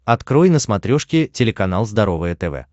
открой на смотрешке телеканал здоровое тв